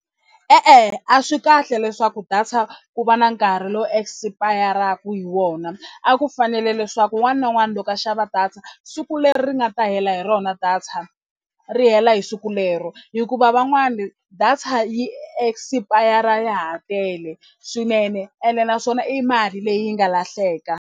E-e, a swi kahle leswaku data ku va na nkarhi lowu expire-aka hi wona a ku fanele leswaku un'wana na un'wana loko a xava data siku leri nga ta hela hi rona data ri hela hi siku lero hikuva van'wani data yi expire ya ha tele swinene ene naswona i mali leyi nga lahleka.